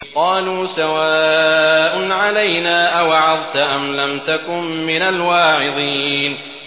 قَالُوا سَوَاءٌ عَلَيْنَا أَوَعَظْتَ أَمْ لَمْ تَكُن مِّنَ الْوَاعِظِينَ